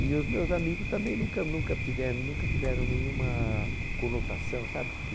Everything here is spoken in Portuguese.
E os meus amigos também nunca nunca tiveram nunca tiveram nenhuma conotação, sabe?